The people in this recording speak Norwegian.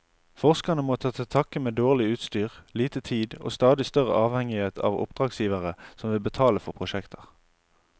Forskerne må ta til takke med dårlig utstyr, lite tid og stadig større avhengighet av oppdragsgivere som vil betale for prosjekter.